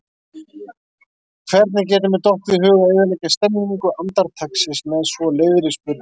Hvernig getur mér dottið í hug að eyðileggja stemmningu andartaksins með svo leiðri spurningu?